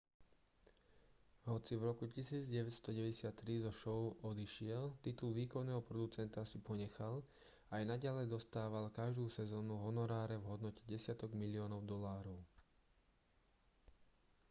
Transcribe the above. hoci v roku 1993 zo šou odišiel titul výkonného producenta si ponechal a aj naďalej dostával každú sezónu honoráre v hodnote desiatok miliónov dolárov